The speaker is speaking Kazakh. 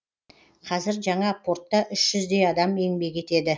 қазір жаңа портта үш жүздей адам еңбек етеді